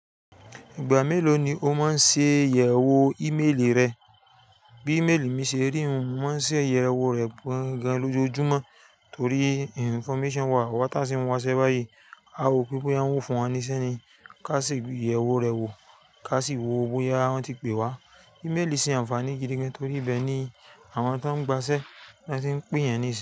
Ìgbà mélòó ni o máa ń ṣe ìyẹ̀wò ímeèlì rẹ? Bí ímeèlì mi ṣe rí òun, mò ń ṣe ìyẹ̀wò rẹ̀ gbọ̀ngań lojoojúmọ́, torí information wà. Awa ta sinń wáṣẹ́ báyìí, a wò pé pé wọn ń wò fún wa níṣẹ́ ni. Ká sì gbé ìyẹ̀wò rẹ̀ wò, ká sì wò bóyá wọ́n ti pè wa. Ímeèlì ṣe àǹfààní gidi gan torí ibẹ́ẹ̀ ni àwọn tó ń gbaṣẹ́ ló ti ń pe eyan ni si.